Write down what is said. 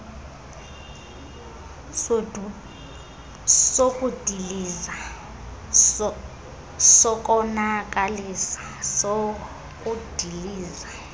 sokudiliza sokonakalisa sokudiliza